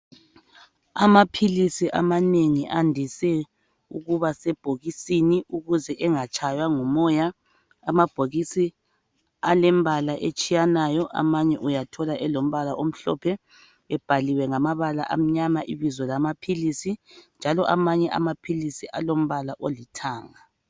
Amaphilisi amanengi andise ukuba sebhokisini ukuze engatshaywa ngumoya. Amabhokisi alembala etshiyanayo, amanye uyathola elombala omhlophe ebhaliwe ngamabala amnyama ibizo lamaphilisi njalo amanye amaphilisi alombala olithanga.